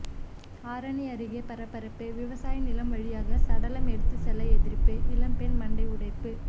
ஆரணி அருகே பரபரப்பு விவசாய நிலம் வழியாக சடலம் எடுத்து செல்ல எதிர்ப்பு இளம்பெண் மண்டை உடைப்பு